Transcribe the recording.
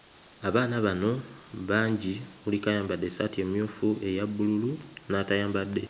Abaana bano bangi kuliko ayambadde essaati emmyufu eya bbululu n'atayambadde.